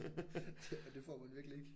Det og det får man jo egentlig ikke